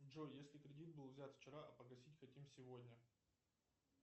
джой если кредит был взят вчера а погасить хотим сегодня